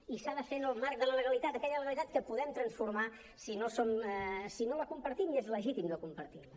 i s’ha de fer en el marc de la legalitat aquella legalitat que podem transformar si no la compartim i és legítim no compartir la